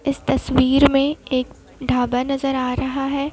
इस तस्वीर में एक ढाबा नजर आ रहा है।